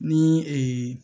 Ni ee